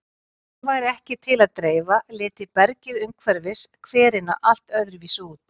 Ef því væri ekki til að dreifa liti bergið umhverfis hverina allt öðruvísi út.